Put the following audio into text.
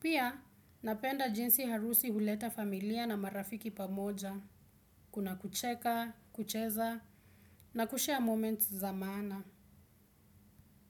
Pia, napenda jinsi harusi huleta familia na marafiki pamoja. Kuna kucheka, kucheza, na kushare moments za maana.